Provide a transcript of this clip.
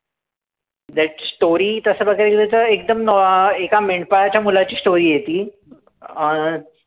That story तसं बघायला गेलं तर एकदम नॉ अं एका मेंढपाळाच्या मुलाची story आहे ती.